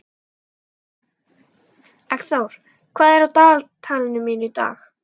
Eggþór, hvað er á dagatalinu mínu í dag?